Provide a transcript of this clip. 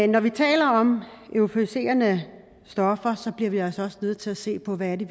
når vi taler om euforiserende stoffer bliver vi altså også nødt til at se på hvad det